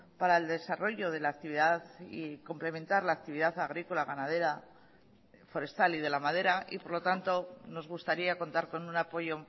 para el desarrollo de la actividad y complementar la actividad agrícola ganadera forestal y de la madera y por lo tanto nos gustaría contar con un apoyo